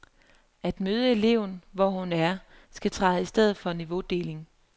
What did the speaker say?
At møde eleven, hvor hun er, skal træde i stedet for niveaudeling.